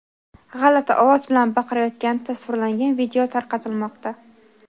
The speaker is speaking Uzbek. g‘alati ovoz bilan baqiryotgani tasvirlangan video tarqatilmoqda.